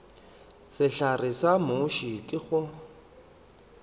sehlare sa muši ke go